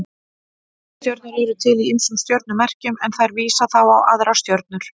Leiðarstjörnur eru til í ýmsum stjörnumerkjum en þær vísa þá á aðrar stjörnur.